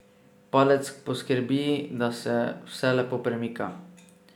Padec poskrbi, da se vse lepo premika.